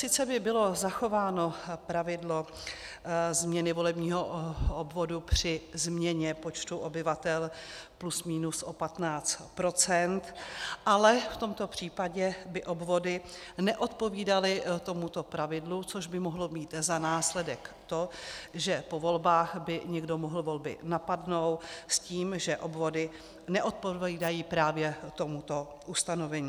Sice by bylo zachováno pravidlo změny volebního obvodu při změně počtu obyvatel plus minus o 15 %, ale v tomto případě by obvody neodpovídaly tomuto pravidlu, což by mohlo mít za následek to, že po volbách by někdo mohl volby napadnout s tím, že obvody neodpovídají právě tomuto ustanovení.